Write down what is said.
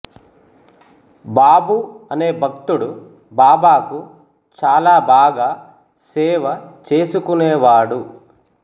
బాబు అనే భక్తుడు బాబాకు చాలా బాగా సేవ చేసుకునేవాడు